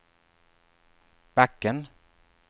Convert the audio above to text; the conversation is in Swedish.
backen